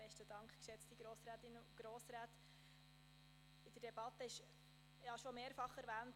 In der Debatte wurde es bereits mehrfach erwähnt: